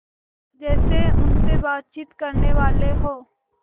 जैसे उनसे बातचीत करनेवाले हों